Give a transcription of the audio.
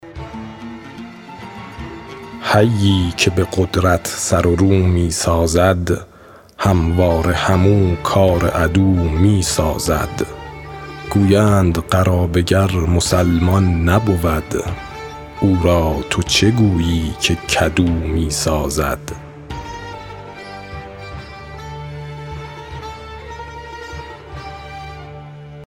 حیی که به قدرت سر و رو می سازد همواره همو کار عدو می سازد گویند قرابه گر مسلمان نبود او را تو چه گویی که کدو می سازد